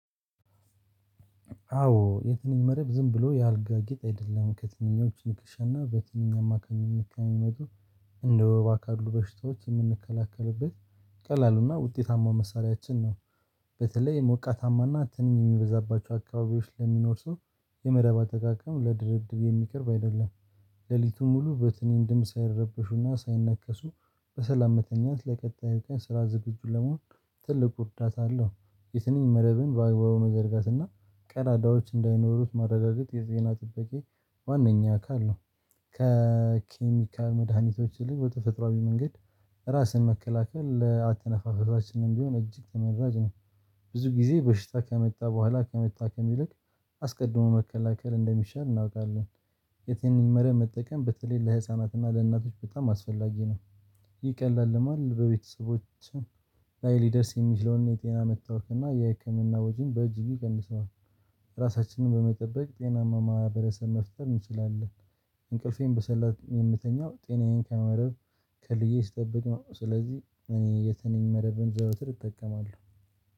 አዎ የትንኝ መረብ ዝም ብሎ የአልጋ ጌጥ አይደለም ከትንኞች ንክሻና በትንኝ አማካኝነት ከሚመጡ እንደ ወባ ካሉ በሽታዎች የምንከላከልበት ቀላል እና ውጤታማው መሳሪያችን ነው። በተለይ ሞቃታማና ትንኝ የሚበዛባቸው አካባቢዎች ለሚኖር ሰው የመረብ አጠቃቀም ለድርድር የሚቀርብ አይደለም። ሌሊቱን ሙሉ በትንኝ ድምጽ ሳይረበሹና ሳይነከሱ በሰላም መተኛት ለቀጣዩ ቀን ስራ ዝግጁ ለመሆን ትልቁ እርዳታ አለው። የትንኝ መረብን በአግባቡ መዘርጋትና ቀዳዳዎች እንዳይኖሩት ማረጋገጥ የጤና ጥበቃ ዋነኛ አካል ነው። ከኬሚካል መድኃኒቶች ይልቅ በተፈጥሮአዊ መንገድ ራስን መከላከል ለአተነፋፈሳችንም ቢሆን እጅግ ተመራጭ ነው። ብዙ ጊዜ በሽታ ከመጣ በኋላ ከመታከም ይልቅ አስቀድሞ መከላከል እንደሚሻል እናውቃለን። የትንኝ መረብ መጠቀም በተለይ ለህፃናትና ለእናቶች በጣም አስፈላጊ ነው። ይህ ቀላል ልማድ በቤተሰቦቻችን ላይ ሊደርስ የሚችለውን የጤና መታወክና የህክምና ወጪ በእጅጉ ይቀንሰዋል። ራሳችንን በመጠበቅ ጤናማ ማህበረሰብ መፍጠር እንችላለን። እንቅልፌን በሰላም የምተኛው ጤናዬን በመረብ ከልዬ ስጠብቅ ነው ስለዚህ እኔ የተንኝ መረብን ዘወትር እጠቀማለሁ